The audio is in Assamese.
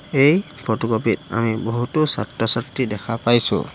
এই ফটোকপি ত আমি বহুতো ছাত্ৰ ছাত্ৰী দেখা পাইছোঁ।